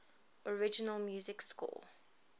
original music score